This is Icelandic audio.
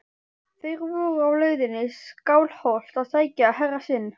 Þeir voru á leiðinni í Skálholt að sækja herra sinn.